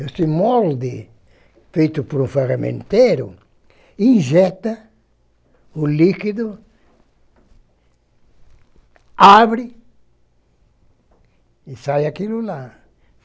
Esse molde, feito por um ferramenteiro, injeta o líquido, abre e sai aquilo lá.